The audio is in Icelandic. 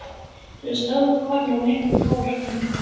Svo stóð konan upp og fór fram.